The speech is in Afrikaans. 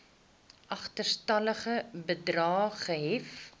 agterstallige bedrae gehef